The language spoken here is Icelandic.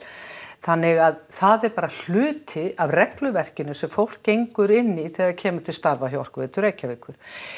þannig að það er bara hluti af regluverkinu sem fólk gengur inn í þegar það kemur til starfa hjá Orkuveitu Reykjavíkur